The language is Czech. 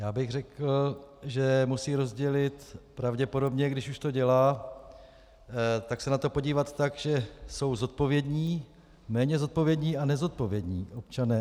Já bych řekl, že musí rozdělit pravděpodobně, když už to dělá - tak se na to podívat tak, že jsou zodpovědní, méně zodpovědní a nezodpovědní občané.